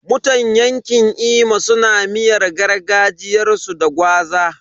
Mutan yanƙin Imo suna miyar gargajiyarsu da gwaza.